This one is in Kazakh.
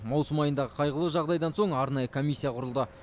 маусым айындағы қайғылы жағдайдан соң арнайы комиссия құрылды